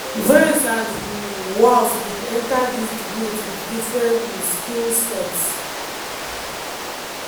vance and um walz bin enta dis debate wit different um skill sets.